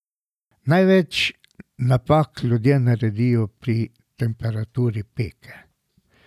Največ napak ljudje naredijo pri temperaturi peke.